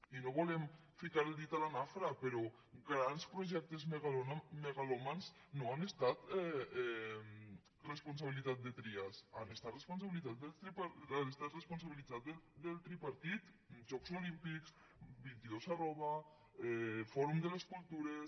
i no volem ficar el dit a la nafra però grans projectes megalòmans no han estat responsabilitat de trias han estat responsabilitat del tripartit jocs olímpics vint dos fòrum de les cultures